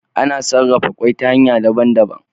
Ana sarafa kwai ta hanya daban daban